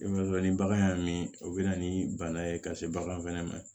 I m'a dɔn ni bagan y'a min o bɛ na ni bana ye ka se bagan fɛnɛ ma